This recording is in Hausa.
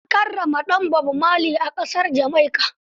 An karrama ɗan Bob Marley a ƙasar Jamaica.